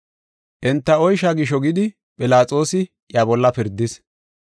Enta oysha gisho, gidi Philaxoosi iya bolla pirdis.